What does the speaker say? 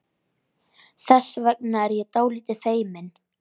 Þess vegna er ég dálítið feimin.